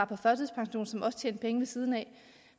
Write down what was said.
også tjente penge ved siden af